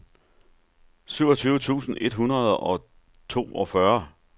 syvogtyve tusind et hundrede og toogfyrre